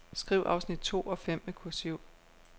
Skriv afsnit to og fem med kursiv.